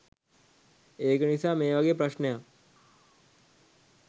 ඒක නිසා මේ වගේ ප්‍රශ්නයක්